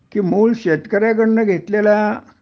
कि मूळ शेतकऱ्याकडन घेतलेला